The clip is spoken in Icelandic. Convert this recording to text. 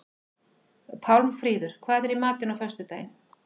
Pálmfríður, hvað er í matinn á föstudaginn?